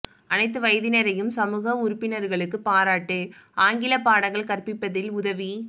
அனைத்து வயதினரையும் சமூக உறுப்பினர்களுக்கு பாராட்டு ஆங்கில பாடங்கள் கற்பிப்பதில் உதவி